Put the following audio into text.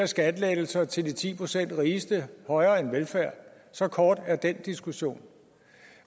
skattelettelser til de ti procent rigeste højere end velfærd så kort er den diskussion